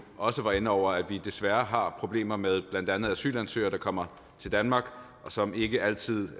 også var inde over at vi desværre har problemer med blandt andet asylansøgere der kommer til danmark og som ikke altid